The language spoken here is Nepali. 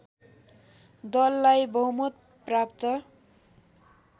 दललाई बहुमत प्राप्त